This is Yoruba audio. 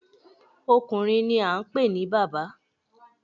Ọkùnrin ni a ń pè ní bàbá.